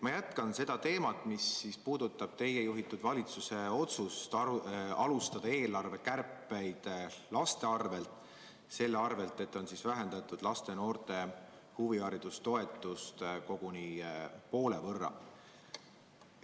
Ma jätkan seda teemat, mis puudutab teie juhitud valitsuse otsust alustada eelarvekärpeid laste arvel, vähendades laste ja noorte huvihariduse toetust koguni poole võrra.